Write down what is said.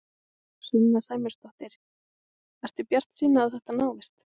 Sunna Sæmundsdóttir: Ertu bjartsýn á að þetta náist?